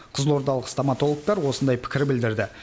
қызылордалық стоматологтар осындай пікір білдірді